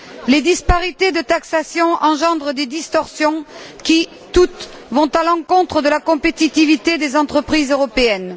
Les disparités de taxation engendrent des distorsions qui, toutes, vont à l'encontre de la compétitivité des entreprises européennes.